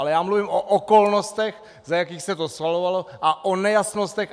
Ale já mluvím o okolnostech, za jakých se to schvalovalo, a o nejasnostech.